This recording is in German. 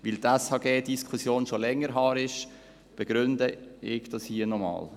Weil die SHG-Diskussion schon länger her ist, begründe ich dies hier noch einmal.